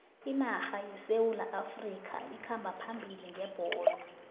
inarha yesewula afrikha ikhamba phambili ngebholo